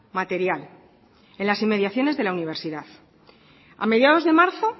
material en las inmediaciones de la universidad a mediados de marzo